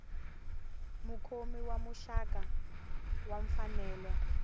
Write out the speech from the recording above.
mukhomi wa muxaka wa mfanelo